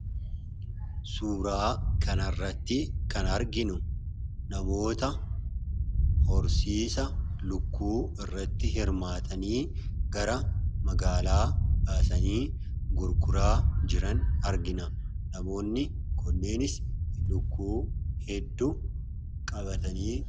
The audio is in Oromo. Suuraa kanarratti kan arginu namoota horsiisa lukkuu irratti hirmaatanii gara magaalaa baasanii gurguraa jiran argina. Namoonni kunis lukkuu hedduu qabatanii jiru.